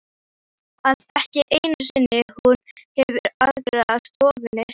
Svo að ekki einu sinni hún hefur aðgang að stofunni?